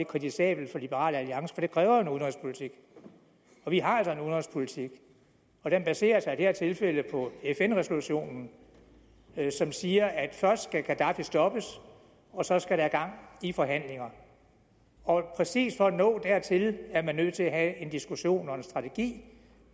kritisabelt for liberal alliance for det kræver jo en udenrigspolitik vi har altså en udenrigspolitik og den baserer sig i det her tilfælde på fn resolutionen som siger at først skal gaddafi stoppes og så skal der gang i forhandlinger og præcis for at nå dertil er man nødt til at have en diskussion og en strategi det